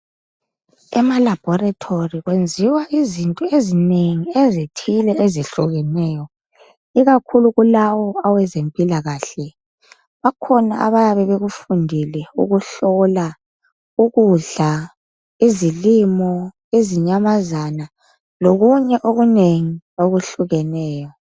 Emalabhorethori kwenziwa izinto eziningi ezithile ezehlukeneyo ikakhulu kulawo awezempilakahle. Bakhona abayabe bekufundele ukuhlola ukudla, izilimo izinyamazana lokunye okunengi okuhlukeneyo.